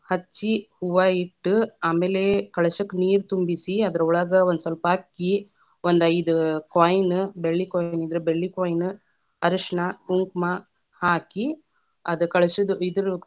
ಹಚ್ಚಿ ಹೂವಾ ಇಟ್ಟ, ಆಮೇಲೆ ಕಳಶಕ್ಕ ನೀರ ತುಂಬಿಸಿ, ಅದರೊಳಗ ಒಂದ ಸ್ವಲ್ಪ ಅಕ್ಕಿ, ಒಂದ ಐದ coin ಬೆಳ್ಳಿ coin ಇದ್ರ ಬೆಳ್ಳಿ coin ಅರಷಣ, ಕುಂಕಮ ಹಾಕಿ, ಅದ್‌ ಕಳಶದ ಇದರ್‌.